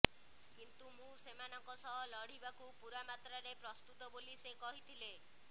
କିନ୍ତୁ ମୁଁ ସେମାନଙ୍କ ସହ ଲଢ଼ିବାକୁ ପୂରା ମାତ୍ରାରେ ପ୍ରସ୍ତୁତ ବୋଲି ସେ କହିଥିଲେ